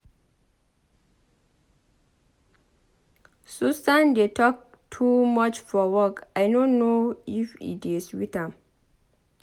Susan dey talk too much for work I no know if e dey sweet am.